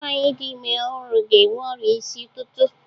Nwaanyị dị ime ọhụrụ ga-enwe ọrịa isi ụtụtụ.